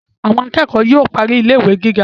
Àwọn akẹ́kọ̀ọ́ yóò parí ilé ìwé gíga